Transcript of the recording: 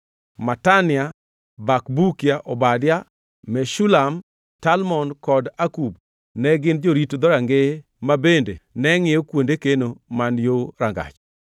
Matania, Bakbukia, Obadia, Meshulam, Talmon kod Akub ne gin jorit dhorangeye ma bende ne ngʼiyo kuonde keno man yo rangach.